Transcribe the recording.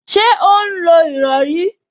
Ṣé ó ń lo ìrọrí?